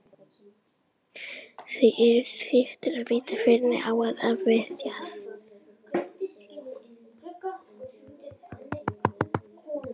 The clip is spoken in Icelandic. Þeir eru þéttir og vita hvernig á að verjast.